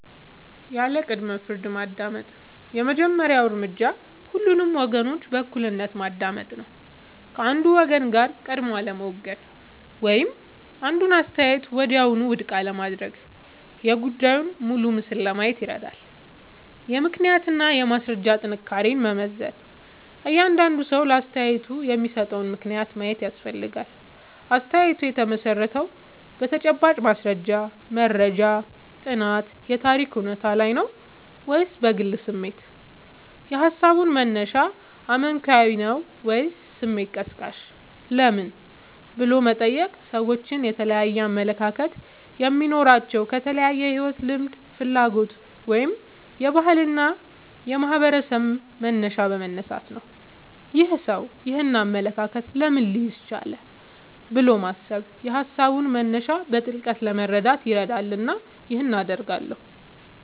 ያለ ቅድመ-ፍርድ ማዳመጥ የመጀመሪያው እርምጃ ሁሉንም ወገኖች በእኩልነት ማዳመጥ ነው። ከአንዱ ወገን ጋር ቀድሞ አለመወገን ወይም አንዱን አስተያየት ወዲያውኑ ውድቅ አለማድረግ የጉዳዩን ሙሉ ምስል ለማየት ይረዳል። የምክንያትና የማስረጃ ጥንካሬን መመዘን እያንዳንዱ ሰው ለአስተያየቱ የሚሰጠውን ምክንያት ማየት ያስፈልጋል። አስተያየቱ የተመሠረተው በተጨባጭ ማስረጃ (መረጃ፣ ጥናት፣ የታሪክ እውነታ) ላይ ነው ወይስ በግል ስሜት? የሃሳቡ መነሻ አመክንዮአዊ ነው ወይስ ስሜት ቀስቃሽ? ለምን" ብሎ መጠየቅ ሰዎች የተለያየ አመለካከት የሚኖራቸው ከተለያየ የሕይወት ልምድ፣ ፍላጎት ወይም የባህልና የማኅበረሰብ መነሻ በመነሳት ነው። "ይህ ሰው ይህንን አመለካከት ለምን ሊይዝ ቻለ?" ብሎ ማሰብ የሃሳቡን መነሻ በጥልቀት ለመረዳት ይረዳልና ይህን አደርጋለሁ